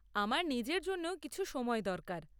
আমার নিজের জন্যও কিছু সময় দরকার।